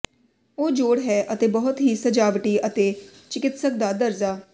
ਉਹ ਜੋੜ ਹੈ ਅਤੇ ਬਹੁਤ ਹੀ ਸਜਾਵਟੀ ਅਤੇ ਚਿਕਿਤਸਕ ਦਾ ਦਰਜਾ